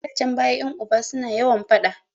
A da can baya ƴan uba su na yawan faɗa